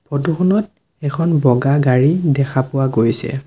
Photo খনত এখন বগা গাড়ী দেখা পোৱা গৈছে।